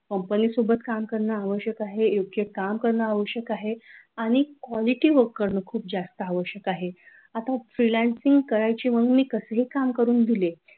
company सोबत काम करण्यास आवश्यक आहे योग्य काम करणे आवश्यक आहे आणि quality work करणं खूप जास्त आवश्‍यक आहे आता freelancing करायचे म्हणून मी कसेही काम करून दिले.